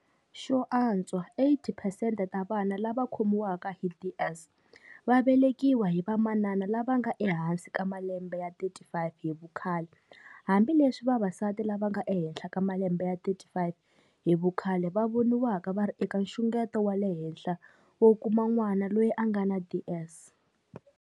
Xo antswa 80 phesente ta vana lava va khomiwaka hi DS va velekiwa hi va manana lava nga ehansi ka malembe ya 35 hi vukhale, hambileswi vavasati lava nga ehenhla ka malembe ya 35 hi vukhale va voniwaka va ri eka nxungeto wa le henhla wo kuma n'wana loyi a nga na DS.